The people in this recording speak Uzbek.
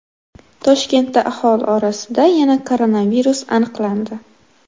Toshkentda aholi orasida yana koronavirus aniqlandi.